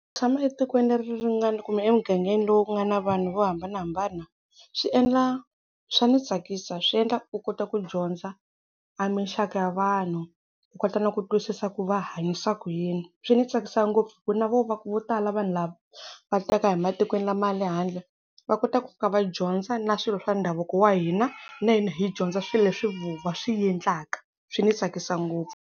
Tshama etikweni leri ri nga ni kumbe emugangeni lowu ku nga na vanhu vo hambanahambana swi endla swa ni tsakisa swi endla u kota ku dyondza a minxaka ya vanhu u kota na ku twisisa ku va hanyisa ku yini, swi ni tsakisa ngopfu hi ku na vo vo tala vanhu lava va taka hi matikweni lama ya le handle va kota ku ka va dyondza na swilo swa ndhavuko wa hina na hina hi dyondza swilo leswi voho va swi endlaka. Swi ni tsakisa ngopfu.